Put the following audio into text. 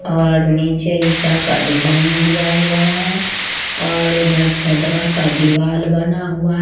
और नीचे ईंटा का डिजाइन दिया हुआ है और उधर चदरा का दिवाला बना हुआ--